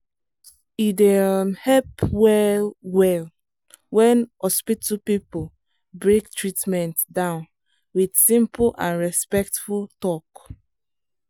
e dey um help well-well when hospital people break treatment down with simple and and respectful talk.